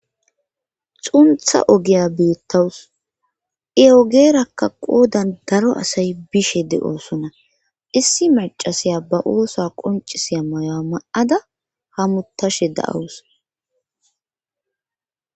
xuntha ogiya beettawus eogeerakka qoodan daro asay bishe de7oosona issi macasiya ba oosa qoncisiya mayo7 ma7ada hamutashe da7awus